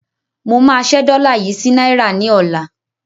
Mo máa ṣẹ́ dọ́là yí sí náírà ní ọ̀la